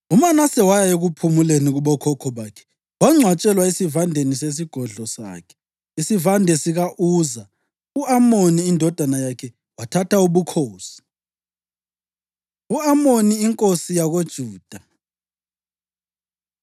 UManase waya ekuphumuleni kubokhokho bakhe, wangcwatshelwa esivandeni sesigodlo sakhe, isivande sika-Uza. U-Amoni indodana yakhe wathatha ubukhosi. U-Amoni Inkosi YakoJuda